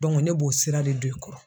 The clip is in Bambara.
ne b'o sira de don i kɔrɔ.